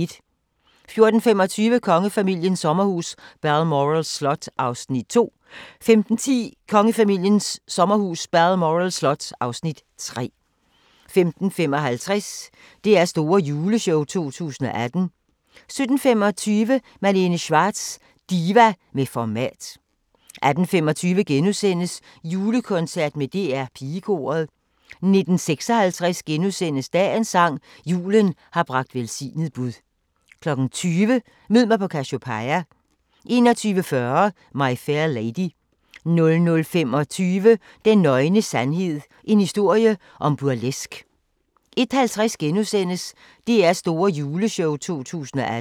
14:25: Kongefamiliens sommerhus – Balmoral Slot (Afs. 2) 15:10: Kongefamiliens sommerhus – Balmoral slot (Afs. 3) 15:55: DR's Store Juleshow 2018 17:25: Malene Schwartz – diva med format 18:25: Julekoncert med DR Pigekoret * 19:56: Dagens sang: Julen har bragt velsignet bud * 20:00: Mød mig på Cassiopeia 21:40: My Fair Lady 00:25: Den nøgne sandhed – en historie om burleske 01:50: DR's Store Juleshow 2018 *